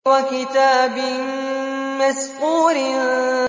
وَكِتَابٍ مَّسْطُورٍ